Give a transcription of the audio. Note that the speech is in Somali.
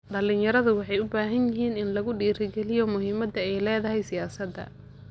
Dhalinyaradu waxay u baahan yihiin in lagu dhiirigaliyo muhiimada ay leedahay siyaasada.